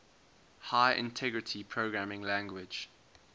high integrity programming language